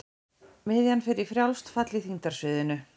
Miðjan fer í frjálst fall í þyngdarsviðinu.